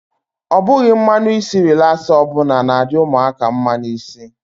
Ọ bughi mmanụ isi relasa ọbụla na-adi ụmụaka mma n'isi.